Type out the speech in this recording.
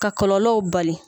Ka kɔlɔlɔw bali.